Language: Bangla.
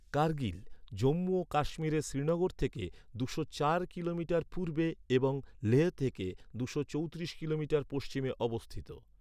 কার্গিল, জম্মু ও কাশ্মীরের শ্রীনগর থেকে দুশো চার কিলোমিটার পূর্বে এবং লেহ থেকে দুশো চৌত্রিশ কিলোমিটার পশ্চিমে অবস্থিত।